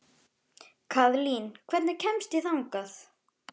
Kaðlín, hvernig kemst ég þangað?